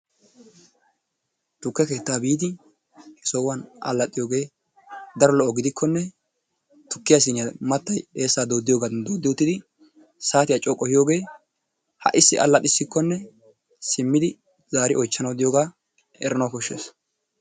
Tukke keettaa biidi sohuwan allaxxiyogee daro lo'o gidikkonne tukkiya siiniya mattay eessaa dooddiyogaadan dooddi uttidi saatiya coo qohiyogee ha"issi allaxissikkonne simmidi zaari oychchanawu diyogaa eranawu koshshees.